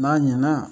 N'a ɲɛna